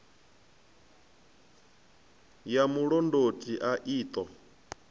ya mulondoti a i ṱo